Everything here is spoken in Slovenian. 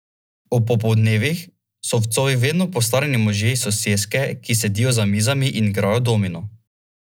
Ob popoldnevih so v Covi vedno postarani možje iz soseske, ki sedijo za mizami in igrajo domino.